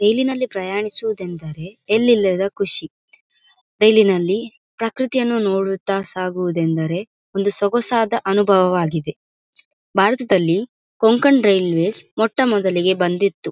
ರೈಲಿ ನಲ್ಲಿ ಪ್ರಯಾಣಿಸುವುದು ಎಂದರೆ ಎಲ್ಲಿ ಇಲ್ಲದ ಖುಷಿ ರೈಲಿ ನಲ್ಲಿ ಪ್ರಕೃತಿಯನ್ನು ನೋಡುತ್ತಾ ಸಾಗುವುದೆಂದರೆ ಒಂದು ಸೊಗಾಸಾದ ಅನುಭವವಾಗಿದೆ ಭಾರತದಲ್ಲಿ ಕೊಂಕಣ್ ರೈಲ್ವೇಸ್ ಮೊಟ್ಟ ಮೊದಲಿಗೆ ಬಂದಿತ್ತು.